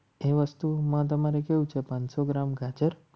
એ વસ્તુ માં તમારે કેવું છે પાંચ સો ગ્રામ ખાચર